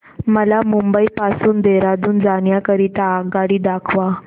मला मुंबई पासून देहारादून जाण्या करीता आगगाडी दाखवा